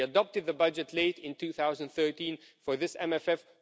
We adopted the budget late in 2013 for this MFF.